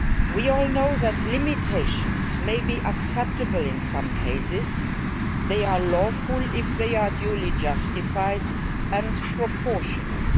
We all know that limitations may be acceptable in some cases they are lawful if they are duly justified and proportionate.